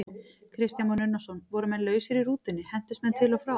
Kristján Már Unnarsson: Voru menn lausir í rútunni, hentust menn til og frá?